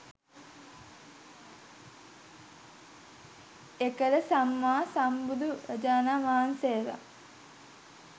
එකල සම්මා සම්බුදුරජාණන් වහන්සේලා